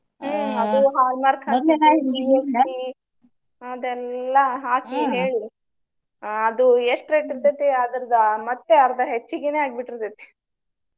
ಹ್ಮ ಅದು hallmark ಹಾಕಿದ್ದು GST ಅದೆಲ್ಲಾ ಹಾಕಿ ಹೇಳಿ ಆಹ್ ಅದು ಎಷ್ಟು rate ಇರ್ತೆತಿ ಅದರ್ದ ಮತ್ತೆ ಅರ್ದ ಹೆಚ್ಚಗಿನೆ ಆಗ್ಬಿಟ್ಟಿರ್ತೆತಿ.